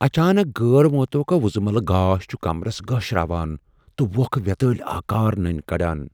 اچانک غیر مُتوقع وُزملہٕ گاش چھُ كمرس گٲشراوان تہ ووکھٕ ویتٲلۍ آكار ننۍ کڈان۔